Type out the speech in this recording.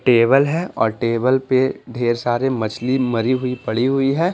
Table है और table पे ढेर सारी मछली मरी हुई पड़ी हुई हैं।